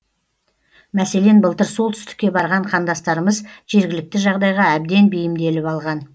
мәселен былтыр солтүстікке барған қандастарымыз жергілікті жағдайға әбден бейімделіп алған